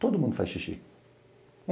Todo mundo faz xixi.